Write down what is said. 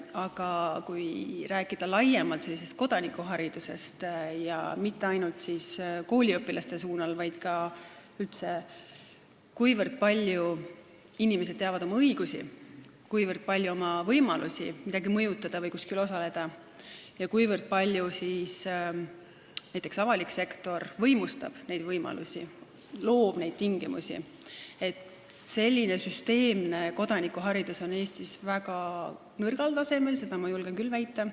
Aga kui rääkida laiemalt kodanikuharidusest ja mitte ainult kooliõpilastega seoses, vaid üldse sellest, kui palju inimesed teavad oma õigusi ja oma võimalusi midagi mõjutada või kuskil osaleda ja kuivõrd näiteks avalik sektor võimestab neid võimalusi ja loob neid tingimusi, siis tuleb öelda, et süsteemne kodanikuharidus on Eestis väga nõrgal tasemel, seda ma julgen küll väita.